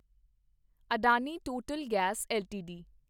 Adani Total Gas LTD